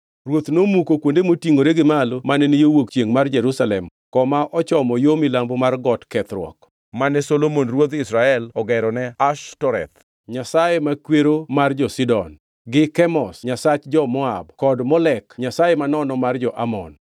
Ruoth nomuko kuonde motingʼore gi malo mane ni yo wuok chiengʼ mar Jerusalem koma ochomo yo milambo mar Got Kethruok, mane Solomon ruodh Israel ogero ne Ashtoreth, nyasach makwero mar jo-Sidon, gi Kemosh nyasach jo-Moab kod Molek nyasaye manono mar jo-Amon.